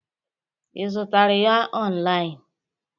Ị zutere ya online?